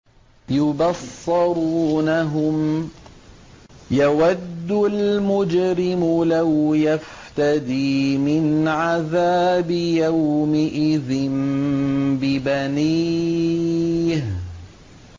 يُبَصَّرُونَهُمْ ۚ يَوَدُّ الْمُجْرِمُ لَوْ يَفْتَدِي مِنْ عَذَابِ يَوْمِئِذٍ بِبَنِيهِ